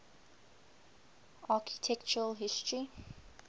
architectural history